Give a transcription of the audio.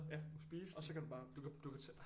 Ja og så kan du bare